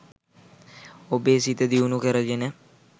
ඔබේ සිත දියුණු කරගෙන